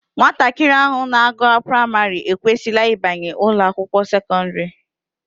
Nwatakịrị ahụ na-agụ praịmarị ekwesịla ịbanye ụlọakwụkwọ sekọndịrị